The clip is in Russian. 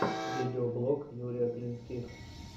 видеоблог юрия клинских